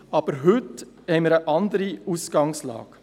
Aber heute haben wir eine andere Ausgangslage.